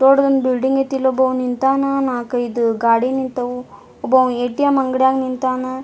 ದೊಡ್ದ್ ಒಂದ್ ಬಿಲ್ಡಿಂಗ್ ಆಯ್ತಿ ಇಲ್ಲೊಬ್ಬವ್ ನಿಂತನಾ ನಾಕೈದು ಗಾಡಿ ನಿಂತವು ಒಬ್ಬವ್ ಏ.ಟಿ.ಎಮ್. ಅಂಗಡಿಯಾಗ್ ನಿಂತನ.